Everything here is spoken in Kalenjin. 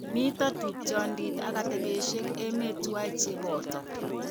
Mito tupchondit ak atebeshekab emet tuwai che boto.